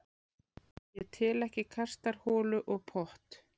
Ég tel ekki kastarholu og pott.